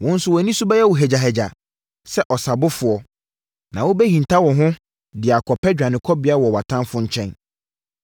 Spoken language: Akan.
Wo nso wʼani so bɛyɛ wo hagyahagya sɛ ɔsabofoɔ Na wo bɛhinta wo ho de akɔpɛ dwanekɔbea wɔ atamfoɔ nkyɛn.